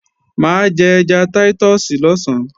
Mà á jẹ ẹja táítọ̀sì lọ̀sán